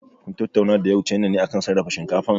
Kun tattauna da ƴau China ne akan sarrafa shinkafan?